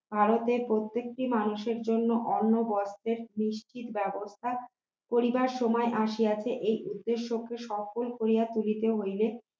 ভারতের প্রত্যেকটি মানুষের জন্য অন্য বস্ত্রের নিশ্চিত ব্যবস্থা করিবার সময় আসিয়াছে এই উদ্দেশ্যকে সফল করিয়া তুলিতে হইবে